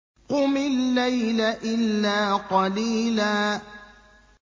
قُمِ اللَّيْلَ إِلَّا قَلِيلًا